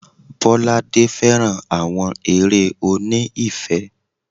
Bolade féràn àwọn eré oní ìfẹ́.